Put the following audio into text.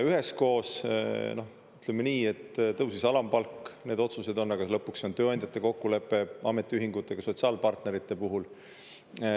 Üheskoos, ütleme nii, et tõusis alampalk, need otsused on, aga lõpuks see on tööandjate kokkulepe ametiühingutega sotsiaalpartnerite puhul.